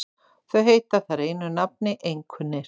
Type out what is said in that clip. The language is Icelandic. Þau heita þar einu nafni einkunnir.